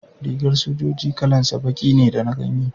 Rigar sojoji kalan sa baki da na ganye